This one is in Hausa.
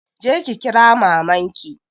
Je ki kira maman ki.